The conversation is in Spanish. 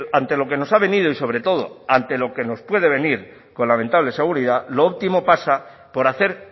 ante lo que nos ha venido y sobre todo ante lo que nos puede venir con lamentable seguridad lo óptimo pasa por hacer